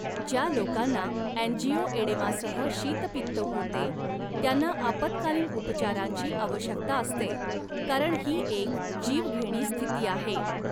ज्या लोकांना अँजिओएडेमासह शीतपित्त होते त्यांना आपत्कालीन उपचारांची आवश्यकता असते कारण ही एक जीवघेणी स्थिती आहे.